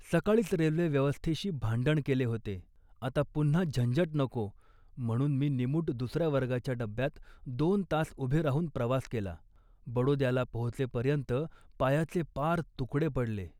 सकाळीच रेल्वे व्यवस्थेशी भांडण केले होते, आता पुन्हा झंझट नको म्हणून मी निमूट दुसऱ्या वर्गाच्या डब्यात दोन तास उभे राहून प्रवास केला. बडोद्याला पोहोचेपर्यंत पायाचे पार तुकडे पडले